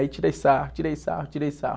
Aí tirei sarro, tirei sarro, tirei sarro.